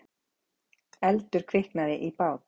Eldur kviknaði í bát